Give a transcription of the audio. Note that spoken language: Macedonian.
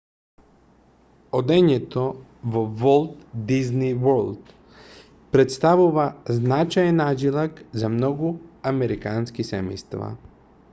одењето во волт дизни ворлд претставува значаен аџилак за многу американски семејства